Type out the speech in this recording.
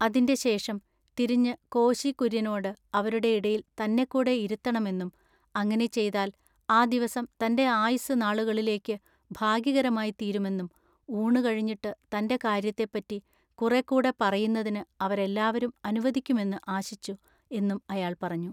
അതിന്റെ ശേഷം തിരിഞ്ഞു കോശി കുര്യനോട് അവരുടെ ഇടയിൽ തന്നെക്കൂടെ ഇരുത്തെണമെന്നും അങ്ങിനെ ചെയ്താൽ ആ ദിവസം തന്റെ ആയുസ്സ് നാളുകളിലേക്ക് ഭാഗ്യകരമായിത്തീരുമെന്നും ഊണുകഴിഞ്ഞിട്ട് തന്റെ കാര്യത്തെപ്പറ്റി കുറെക്കൂടെ പറയുന്നതിന് അവരെല്ലാവരും അനുവദിക്കുമെന്ന് ആശിച്ചു എന്നും അയാൾ പറഞ്ഞു.